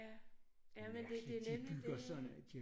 Ja ja men det nemlig det